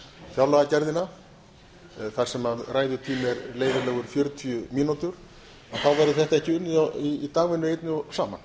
fjárlagagerðina þar sem ræðutími er leyfilegur fjörutíu mínútur þá verður þetta ekki unnið í dagvinnu einni saman